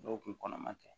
Dɔw kun kɔnɔma tɛ